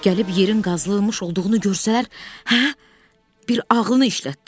Gəlib yerin qazılmış olduğunu görsələr, hə, bir ağlını işlət də.